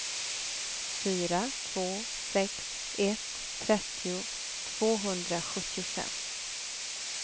fyra två sex ett trettio tvåhundrasjuttiofem